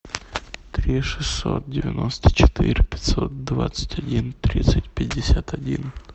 три шестьсот девяносто четыре пятьсот двадцать один тридцать пятьдесят один